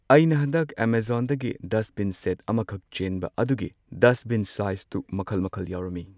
ꯑꯩꯅ ꯍꯟꯗꯛ ꯑꯦꯃꯥꯖꯣꯟꯗꯒꯤ ꯗꯁꯕꯤꯟ ꯁꯦꯠ ꯑꯃꯈꯛ ꯆꯦꯟꯕ ꯑꯗꯨꯒꯤ ꯗꯁꯕꯤꯟ ꯁꯥꯏꯁꯇꯣ ꯃꯈꯜ ꯃꯈꯜ ꯌꯥꯎꯔꯝꯃꯤ꯫